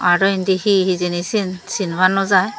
arow indi hi hijeni siyen sinpa nw jai.